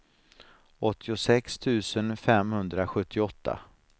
åttiosex tusen femhundrasjuttioåtta